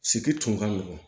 Sigi tun ka nɔgɔn